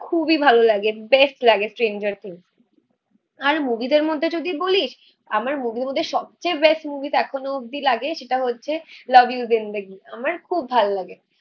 খুবই ভালো লাগে বেস্ট লাগে আর মুভিদের মধ্যে যদি বলিস, আমার মুভি র মধ্যে সবচেয়ে বেস্ট মুভি এখনো অব্দি লাগে সেটা হচ্ছে লাভ ইউ জিন্দেগি আমার খুব ভাল লাগে.